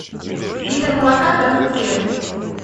литр молока домик в деревне